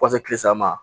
Fo ka se kile saba ma